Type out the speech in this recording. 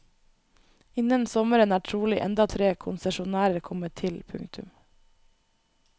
Innen sommeren er trolig enda tre konsesjonærer kommet til. punktum